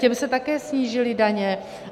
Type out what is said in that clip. Těm se také snížily daně.